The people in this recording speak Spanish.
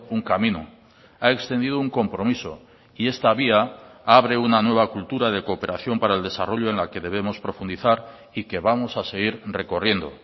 un camino ha extendido un compromiso y esta vía abre una nueva cultura de cooperación para el desarrollo en la que debemos profundizar y que vamos a seguir recorriendo